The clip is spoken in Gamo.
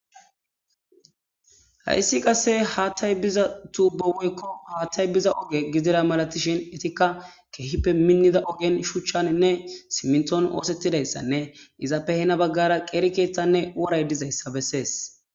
Hayssi qasse haattay biza tuuboweykko haattay biza oge gidira malatishin etikka keehippe minnida ogen shuchchaninne simnton oosettidayssanne izappe hena baggara qeeri keeththanne woray dizayssa bessees.